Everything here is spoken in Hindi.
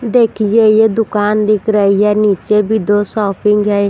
देखिए ये दुकान दिख रही है नीचे भी दो शॉपिंग है।